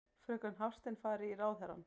Fröken Hafstein fari í ráðherrann.